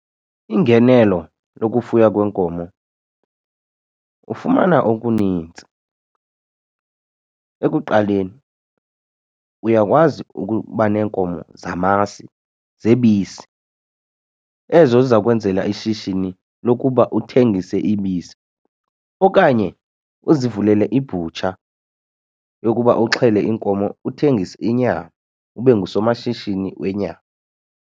Ingenelo lokufuya kwenkomo ufumana okunintsi. Ekuqaleni uyakwazi ukuba neenkomo zamasi zebisi ezo ziza kwenzela ishishini lokuba uthengise ibisi okanye uzivulele ibutsha yokuba uxhele iinkomo uthengise inyama ube ngusomashishini wenyama.